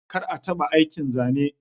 Kar a taɓa aikin zane.